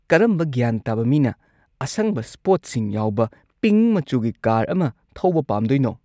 ꯀꯔꯝꯕ ꯒ꯭ꯌꯥꯟ ꯇꯥꯕ ꯃꯤꯅ ꯑꯁꯪꯕ ꯁ꯭ꯄꯣꯠꯁꯤꯡ ꯌꯥꯎꯕ ꯄꯤꯡꯛ ꯃꯆꯨꯒꯤ ꯀꯥꯔ ꯑꯃ ꯊꯧꯕ ꯄꯥꯝꯗꯣꯏꯅꯣ?